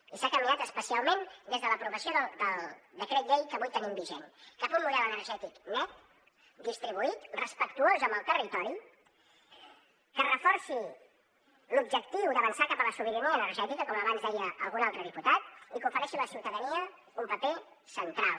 i s’ha caminat especialment des de l’aprovació del decret llei que avui tenim vigent cap a un model energètic net distribuït respectuós amb el territori que reforça l’objectiu d’avançar cap a la sobirania energètica com abans deia algun altre diputat i que ofereix a la ciutadania un paper central